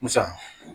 Musa